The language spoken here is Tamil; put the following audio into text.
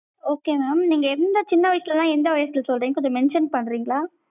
okay mam நீங்க எந்த சின்ன வயசுலனா எந்த வயசுல சொல்றிங்க கொஞ்சம் mention பண்றிங்களா.